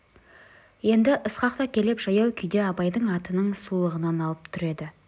енді ысқақ та келіп жаяу күйде абайдың атының сулығынан алып тұр еді